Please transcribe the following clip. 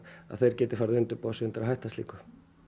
þeir geti farið að undirbúa sig undir að hætta slíku